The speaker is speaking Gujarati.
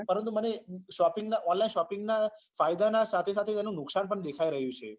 પરંતુ મને shopping ના online shopping ના ફાયદા ના સાથે સાથે તેનું નુકશાન પણ દેખાઈ રહ્યું છે